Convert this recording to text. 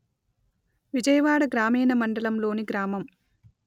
విజయవాడ గ్రామీణ మండలం లోని గ్రామం